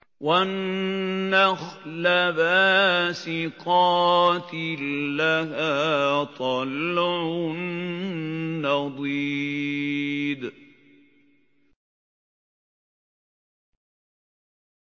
وَالنَّخْلَ بَاسِقَاتٍ لَّهَا طَلْعٌ نَّضِيدٌ